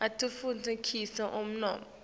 atfutfu kisa umnotfo